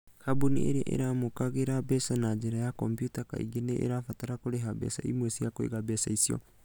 Kambuni iria iramũkagĩra mbeca na njĩra ya kompiuta kaingĩ nĩ irabatara kũrĩha mbeca imwe cia kũiga mbeca icio.